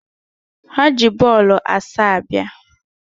Ha ji bọọlụ asaa bịa